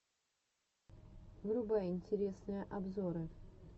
врубай интересные обзоры